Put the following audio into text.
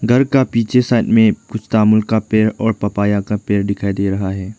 घर का पीछे साइड में कुछ का पेड़ और पपाया का पेड़ दिखाई दे रहा है।